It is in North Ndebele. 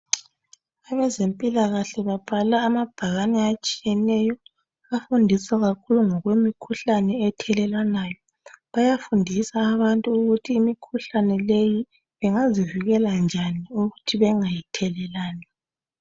Abezemphikahle babhala amabhakani atshiyeneyo. Bafundisa kakhulu ngokwemikhihlane ethelelanwayo. Bayafundisa abantu ukuthi imikhuhlane leyi bengazivikela njani ukuthi bengayithelelani .